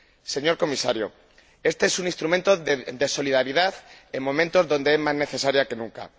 Señor Comisario, este es un instrumento de solidaridad en momentos donde es más necesaria que nunca.